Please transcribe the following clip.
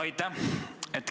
Aitäh!